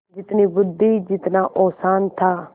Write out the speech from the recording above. जितनी बुद्वि जितना औसान था